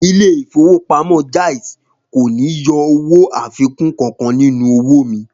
Ilé ìfowópamọ́ Jaiz kò ní yọ owó àfikún kankan nínú owó mi